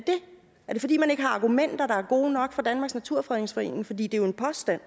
er det fordi man ikke har argumenter der er gode nok fra danmarks naturfredningsforening for det er jo en påstand